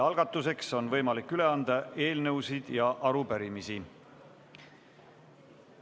Algatuseks on võimalik üle anda eelnõusid ja arupärimisi.